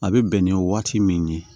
A bɛ bɛn ni waati min ye